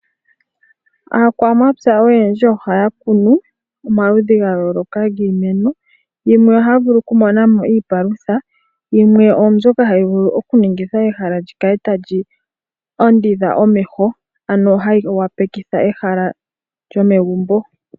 Aakwamapya oyendji ohaya kunu omaludhi ga yooloka giimeno yimwe ohaya vulu oku mona mo iipalutha yimwe ombyoka hayi vulu oku ningitha ehala lyikale tali ondodha omeho ano hayi wapeke ehala lyomegumbo.